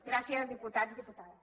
gràcies diputats diputades